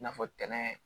I n'a fɔ tɛnɛ